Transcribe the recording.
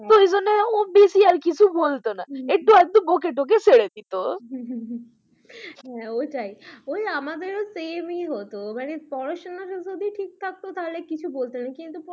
কিছু বলতো না একটু আকটু বলে ছেড়ে দিত, হ্যাঁ ওটাই আমাদেরও same হত, এবারে পড়াশোনাতে যদি ঠিক থাকতো তাহলে কিছু বলত না কিন্তু